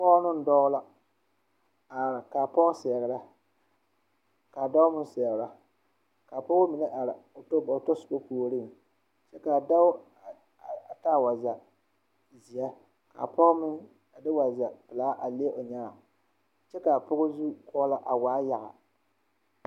Pɔge ne dɔɔ la are kaa Pɔge seɛrɛ kaa dɔɔ meŋ seɛrɛ kaa pɔgeba mine are ba tasoba puoriŋ kyɛ kaa dɔɔ a taa wagyɛzeɛ kaa pɔge mine a de wagyɛ pelaa a le o nyaa kyɛ kaa pɔh zukɔɔlɔ a waa yaga